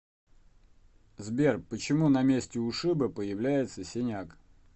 сбер почему на месте ушиба появляется синяк